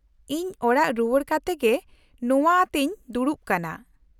-ᱤᱧ ᱚᱲᱟᱜ ᱨᱩᱣᱟᱲ ᱠᱟᱛᱮ ᱜᱮ ᱱᱚᱶᱟ ᱟᱛᱮᱧ ᱫᱲᱩᱵ ᱠᱟᱱᱟ ᱾